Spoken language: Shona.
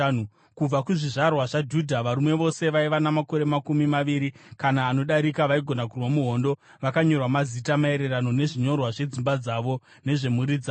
Kubva kuzvizvarwa zvaJudha: Varume vose vaiva namakore makumi maviri kana anodarika vaigona kurwa muhondo vakanyorwa mazita, maererano nezvinyorwa zvedzimba dzavo nezvemhuri dzavo.